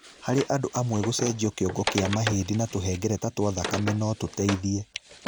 Harĩ andũ amwe gũcenjio kĩongo kĩa mahĩndĩ na tũhengereta twa thakame no tũteithie.